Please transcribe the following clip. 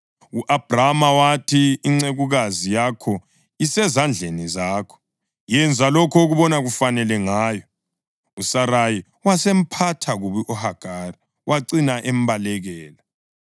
U-Abhrama wathi, “Incekukazi yakho isezandleni zakho. Yenza lokho obona kufanele ngayo.” USarayi wasemphatha kubi uHagari; wacina embalekela.